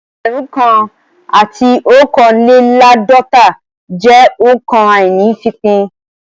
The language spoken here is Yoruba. Ẹgbẹ̀rún kan àti ọ̀kánléláàdọ́ta jẹ́ òǹkà àíní-ìfípín